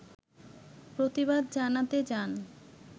প্রতিবাদ জানাতে যান